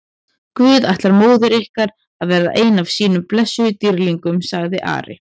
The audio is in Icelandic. Guð ætlar móður ykkar að verða einn af sínum blessuðum dýrlingum, sagði Ari.